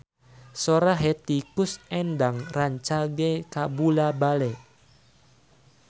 Sora Hetty Koes Endang rancage kabula-bale